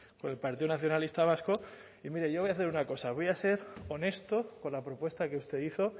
por el partido nacionalista vasco y mire yo voy a hacer una cosa voy a ser honesto con la propuesta que usted hizo